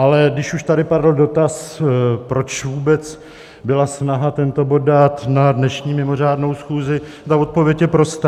Ale když už tady padl dotaz, proč vůbec byla snaha tento bod dát na dnešní mimořádnou schůzi, tak odpověď je prostá.